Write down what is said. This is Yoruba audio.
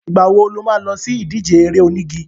Ìgbà wo lo má lọ sí ìdíje eré onígi?